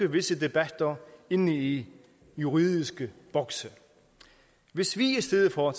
visse debatter inde i juridiske bokse hvis vi i stedet for